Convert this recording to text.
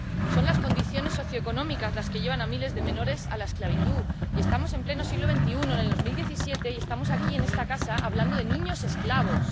Son las condiciones socioeconómicas las que llevan a miles de menores a la esclavitud y estamos en pleno siglo XXI, en 2018, y estamos aquí, en esta casa, hablando de niños esclavos.